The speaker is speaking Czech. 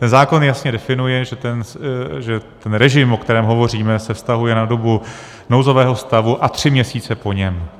Ten zákon jasně definuje, že ten režim, o kterém hovoříme, se vztahuje na dobu nouzového stavu a tři měsíce po něm.